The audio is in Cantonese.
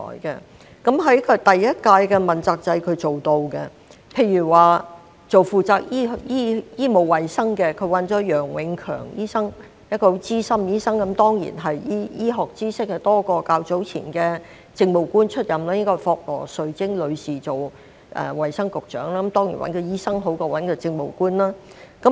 在第一屆問責制，他是做到的，例如負責醫務衞生方面，他找來楊永強醫生，他是一名資深的醫生，醫學知識當然較前任政務官為多——當年應該是由霍羅兆貞女士出任衞生福利局局長——當然，由醫生擔任較由政務官擔任好。